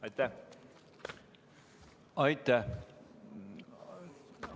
Aitäh!